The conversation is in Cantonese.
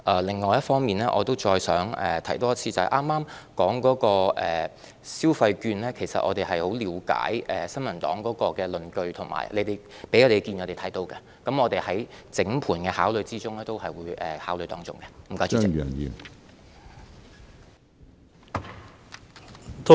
另一方面，我想重申，議員剛才提到發放消費券，其實我們十分了解新民黨的論據；我們已知悉他們提出的意見，而在當局整盤的考慮之中，我們會對此建議作出考慮。